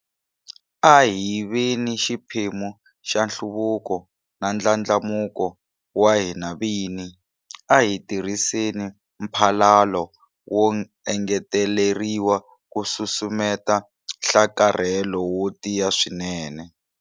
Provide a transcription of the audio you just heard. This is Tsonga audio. A hi veni xiphemu xa nhluvuko na ndlandlamuko wa hina vini. A hi tirhiseni mphalalo wo engeteleriwa ku susumeta nhlakarhelo wo tiya swinene.